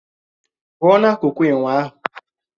Pùo na-akuku ènwe ahụ